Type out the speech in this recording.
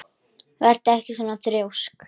Vertu ekki svona þrjósk!